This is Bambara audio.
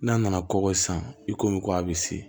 N'a nana kɔgɔ san i komi ko a bɛ se